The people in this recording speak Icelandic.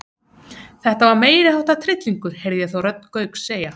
Þetta var meiriháttar tryllingur heyrði ég þá rödd Gauks segja.